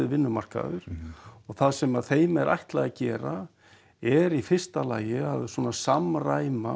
vinnumarkaður það sem það þeim er ætlað að gera er í fyrsta lagi að samræma